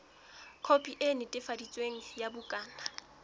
khopi e netefaditsweng ya bukana